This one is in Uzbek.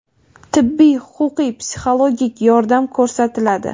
tibbiy, huquqiy va psixologik yordam ko‘rsatiladi.